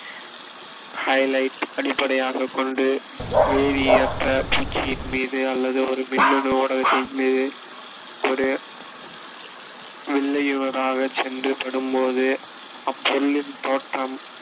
highlight அடிப்படையாகக் கொண்டு பூச்சியின் மீது அல்லது ஒரு மின்னணு ஊடகத்தின்மீது ஒரு வில்லையி சென்று படும்போது, அப்பொருளின் தோற்றம்